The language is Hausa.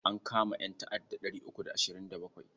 An kama ƴanta'adda ɗari uku da ashirin da bakwai.